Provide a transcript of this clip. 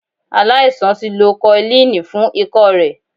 Aláisan ti lo koilínì fún ikọ́ rẹ̀.